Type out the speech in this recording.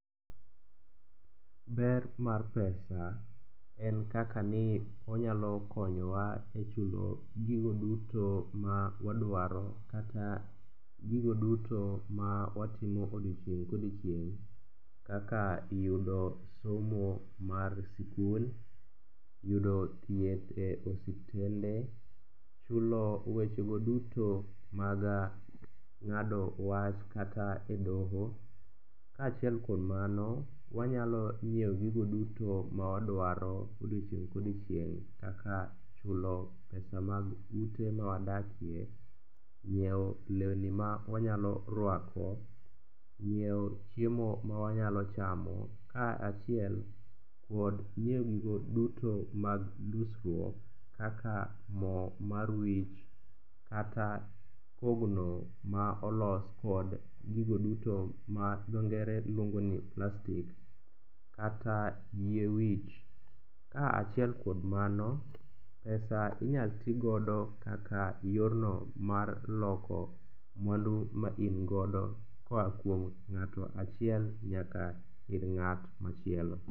Ber mar pesa en kaka ni onyalo konyowa e chulo gigo duto ma wadwaro kata gigo duto ma watimo odiechieng' kodiechieng' kaka yudo somo mar sikul, yudo thieth e osiptende, chulo wechego duto mag ng'ado wach kata e doho. Kaachiel kod mano wanyalo nyieo gigo duto ma wadwaro odiechieng' kodiechieng' kaka chulo pesa mag ute ma wadakie, nyieo lewni ma wanyalo rwako, nyieo chiemo ma wanyalo chamo kaachiel kod nyieo gigo duto mag dusruok kaka mo mar wich kata kogno ma olos kod gigo duto ma dho ngere luongo ni plastic kata yie wich. Kaachiuel kod mano, pesa inyal tigodo kaka yorno mar loko mwandu ma ingodo koa kuom ng'ato achiel nyaka ir ng'at machielo.